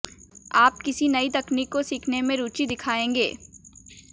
आप किसी नई तकनीक को सीखने में रुचि दिखायेंगे